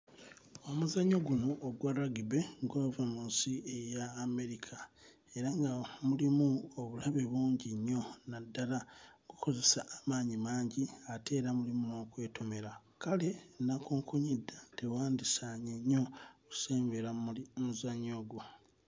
Omuzannyo guno ogwa lagibe gwava mu nsi eya Amerika era nga mulimu obulabe bungi nnyo naddala okkozesa amaanyi mangi ate era mulimu n'okwetomera kale nnakunkunyedda tewandisaanye nnyo kusembera muli mmuzannyo ogwo.